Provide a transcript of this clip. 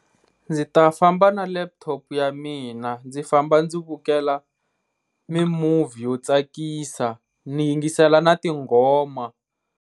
Ndzi ta famba na laptop ya mina, ndzi famba ndzi vukela mi movie yo tsakisa ni yingisela na tinghoma.